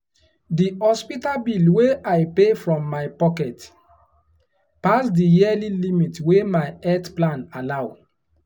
the hospital bill wey i pay from my pocket pass the yearly limit wey my health plan allow.